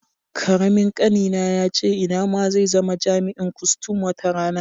Karamin ƙanina yace ina ma zai zama jami'in kustum wata rana.